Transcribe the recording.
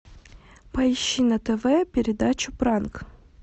поищи на тв передачу пранк